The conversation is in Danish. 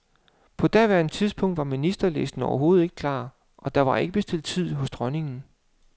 På daværende tidspunkt var ministerlisten overhovedet ikke klar, og der var ikke bestilt tid hos dronningen.